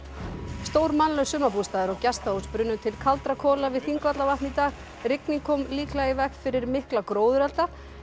stór mannlaus sumarbústaður og gestahús brunnu til kaldra kola við Þingvallavatn í dag rigning kom líklega í veg fyrir mikla gróðurelda en